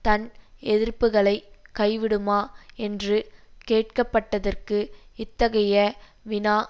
தன் எதிர்ப்புக்களை கைவிடுமா என்று கேட்க பட்டதற்கு இத்தகைய வினா